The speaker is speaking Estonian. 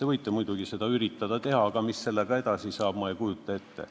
Te võite muidugi üritada seda teha, aga mis sellega edasi saaks – ma ei kujuta ette.